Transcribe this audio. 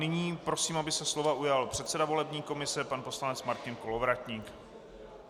Nyní prosím, aby se slova ujal předseda volební komise pan poslanec Martin Kolovratník.